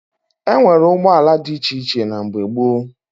E nwere ụgbọala dị iche iche na mgbe gboo